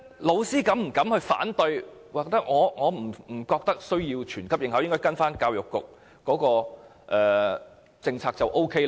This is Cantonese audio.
教師會否敢於反對，說不需要全級學生應考，只要依照教育局的政策便可？